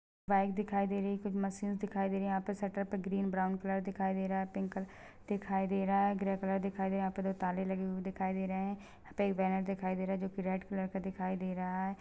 --दिखाई दे रही है कुछ मशीन दिखाई दे रही है यहाँ पे सटल पे ग्रीन ब्राउन कलर दिखाई दे रहा है पिंक कलर दिखाई दे रहा है ग्रे कलर दिखाई दे रहा है यहाँ पे दो ताले लगे हुए दिखाई दे रहे है यहाँ पे एक बैनर है जो के रेड कलर का दिखाई दे रहा है।